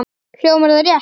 Hljómar það rétt?